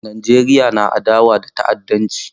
Najeriya na adawa da ta'addanci.